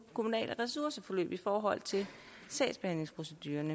kommunale ressourceforbrug i forhold til sagsbehandlingsprocedurerne